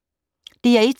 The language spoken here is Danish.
DR1